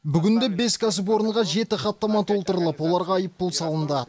бүгінде бес кәсіпорынға жеті хаттама толтырылып оларға айыппұл салынды